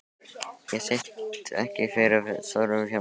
Ég sit ekki fyrir svörum hjá þér.